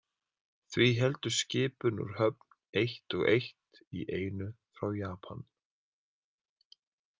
Því héldu skipin úr höfn eitt og eitt í einu frá Japan.